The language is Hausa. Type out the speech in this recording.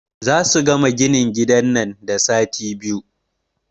Zasu gama ginin gidan nan da sati biyu.